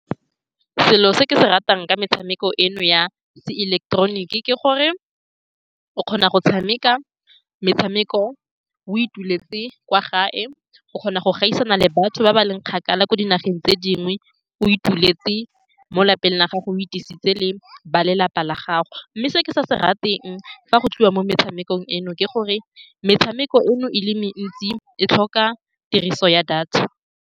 Selo se ke se ratang ka metshameko eno ya seileketeroniki ke gore o kgona go tshameka metshameko o ituletse kwa gae. O kgona go gaisana le batho ba ba leng kgakala kwa dinageng tse dingwe, o ituletse mo lelapeng la gago o itisitse le ba lelapa la gago, mme se ke sa se rateng fa go tliwa mo metshamekong eno ke gore metshameko eno e le mentsi e tlhoka tiriso ya data.